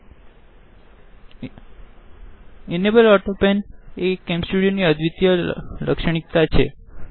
the enable Autopanએ કેમ સ્ટુડીઓની અદ્વિત્ય લક્ષણીતાછે